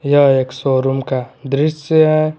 यह एक शोरूम का दृश्य है।